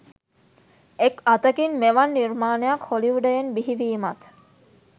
එක් අතකින් මෙවන් නිර්මාණයක් හොලිවුඩයෙන් බිහිවීමත්